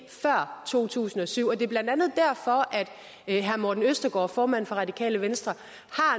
ind før to tusind og syv det er blandt andet derfor at herre morten østergaard formand for radikale venstre